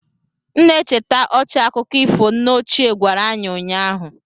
M na-echeta ọchị akụkọ ifo nne ochie gwara anyị ụnyaahụ